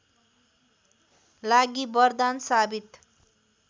लागि वरदान साबित